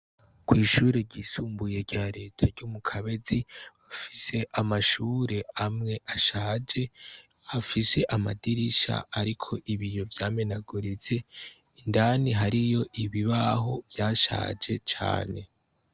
Kw'ishure ryisumbuye rya leta ryo mu kabezi bafise amashure amwe ashaje hafise amadirisha, ariko ibi yo vyamenagorize indani hariyo ibibaho vyashaje cane.